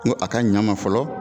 Ko a ka ɲɛ n ma fɔlɔ